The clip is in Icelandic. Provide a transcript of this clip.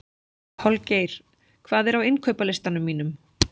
Holgeir, hvað er á innkaupalistanum mínum?